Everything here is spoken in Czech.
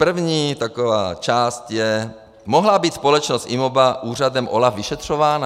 První taková část je: Mohla být společnost IMOBA úřadem OLAF vyšetřována?